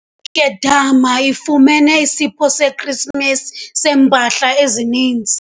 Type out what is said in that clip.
nkedama ifumene isipho seKrisimesi seempahla ezininzi.